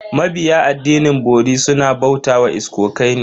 Mabiya addinin bori suna bauta wa iskokai ne.